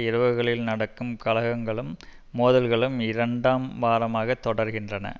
இரவுகளில் நடக்கும் கலகங்களும் மோதல்களும் இரண்டாம் வாரமாக தொடர்கின்றன